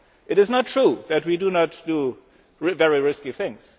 It is not true that we do not do very risky things.